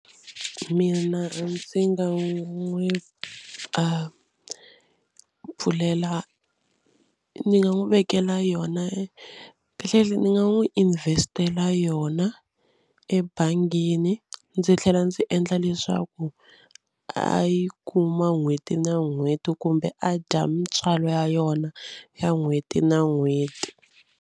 Mina ndzi nga n'wi a pfulela ni nga n'wi vekela yona kahlekahle ni nga n'wi invest-ela yona ebangini. Ndzi tlhela ndzi endla leswaku a yi kuma n'hweti na n'hweti kumbe a dya mintswalo ya yona ya n'hweti na n'hweti.